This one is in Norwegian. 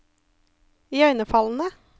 iøynefallende